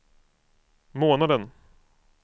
månaden